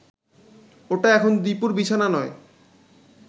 ওটা এখন দীপুর বিছানা নয়